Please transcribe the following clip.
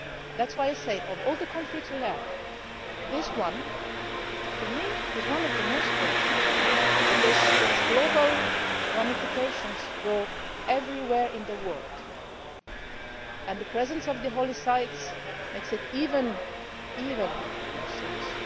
That is why, of all the conflicts we have, to me this is one of the most urgent because its global ramifications go everywhere in the world and the presence of the holy sites makes it even more serious.